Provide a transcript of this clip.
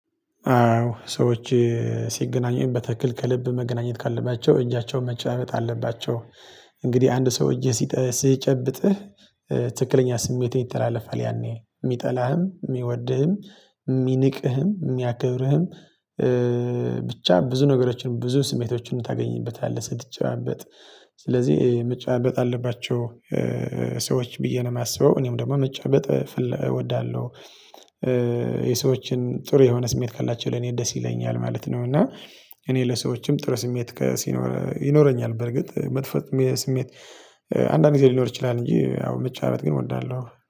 አዎ ሰዎች ሲገናኙኝ በትክክል ከልብ መገናኘት ካለባቸው እጃቸውን መጨበበጥ አለባቸው። እንግዲህ አንድ ሰው እጄ ሲጨብጥህ ትክክለኛ ስሜቴን ይተላለፋል ያኔ የሚጠላህም የሚወድህም የሚንቅህም የሚያክብርህም። ብቻ ብዙ ነገሮችን ብዙ ስሜቶችን ታገኝበታለህ ስትጫወት ስለዚህ መጫባባጥ አለባቸው። ሰዎች ብዬ ነው የማስበው እኔም ደግሞ መጫበጥ እወዳለሁ። የሰዎችን ጥሩ የሆነ ስሜት ካላቸው ለኔ ደስ ይለኛል ማለት ነው። እና እኔ ለሰዎችም ጥሩ ስሜት ከሲኖር ይኖረኛል በርግጥ መጥፎ ስሜት አንዳንድ ጊዜ ሊኖር ይችላል። እንጂ ያው መጨባበጥ ግን እወዳለሁ